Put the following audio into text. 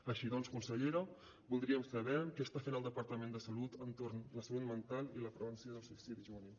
així doncs consellera voldríem saber què està fent el departament de salut entorn de la salut mental i la prevenció del suïcidi juvenil